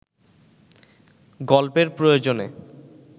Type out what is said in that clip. গল্পের প্রয়োজনে